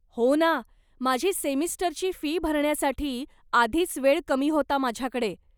हो ना, माझी सेमिस्टरची फी भरण्यासाठी आधीच वेळ कमी होता माझ्याकडे.